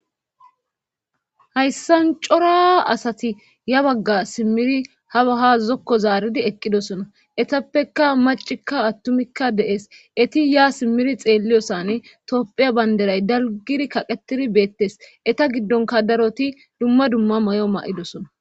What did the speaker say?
hayssan cora asati ya bagga simmiri ha baha zokko zaaridi eqqidosona etappeka macikka attumikka de7es eti ya simmiri xeelliyosan tophiya banderay dalgiri kaqetidi beettes eta giddonka daroti dumma dumma may7o ma7idosona